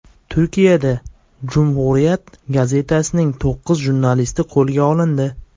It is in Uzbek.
Turkiyada Cumhuriyet gazetasining to‘qqiz jurnalisti qo‘lga olindi.